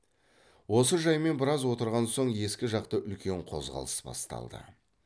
осы жаймен біраз отырған соң ескі жақта үлкен қозғалыс басталды